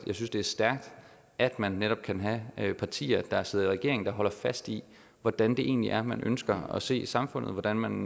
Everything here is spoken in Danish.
jeg synes det er stærkt at man netop kan have partier der sidder i regering og som holder fast i hvordan det egentlig er man ønsker at se samfundet hvordan man